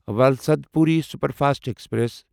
Valsad Puri superfast express